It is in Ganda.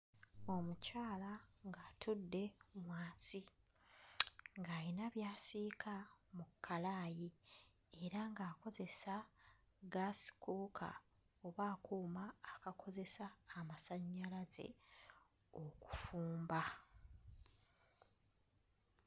Omukyala ng'atudde wansi ng'ayina by'asiika mu kkalaayi era ng'akozesa ggaasi kkuuka oba akuuma akakozesa amasannyalaze okufumba.